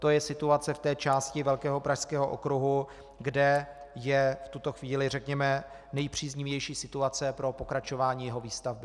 To je situace v té části velkého Pražského okruhu, kde je v tuto chvíli, řekněme, nejpříznivější situace pro pokračování jeho výstavby.